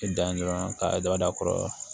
Dan ye dɔrɔn ka daba da kɔrɔ